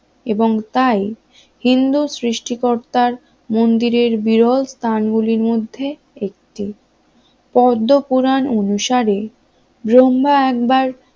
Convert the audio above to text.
এবং তাই হিন্দু সৃষ্টিকর্তার মন্দিরের বিরল স্থান গুলির মধ্যে একটি পদ্মপুরাণ অনুসারে ব্রহ্মা একবার